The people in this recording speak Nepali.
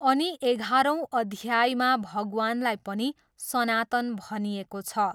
अनि एघारौँ अध्यायमा भगवानलाई पनि सनातन भनिएको छ।